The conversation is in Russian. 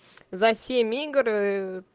за семь игр